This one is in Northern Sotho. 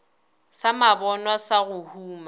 sa mabonwa sa go huma